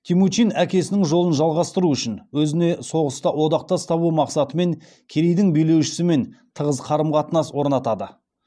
темучин әкесінің жолын жалғастыру үшін өзіне соғыста одақтас табу мақсатымен керейдің билеушісімен тығыз қарым қатынас орнатады